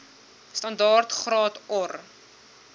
standaard graad or